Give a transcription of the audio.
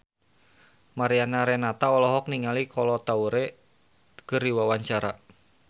Mariana Renata olohok ningali Kolo Taure keur diwawancara